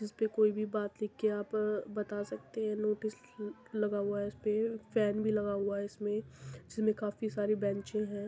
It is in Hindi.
इसपे कोई भी बात लिख के आप बता सकते हैं नोटिस ल लगी हुआ है इसपे फेन भी लगा है इसमें। इसमें काफी सारी बैंचे हैं।